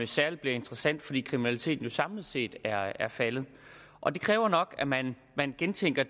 særlig bliver interessant fordi kriminaliteten jo samlet set er faldet og det kræver nok at man gentænker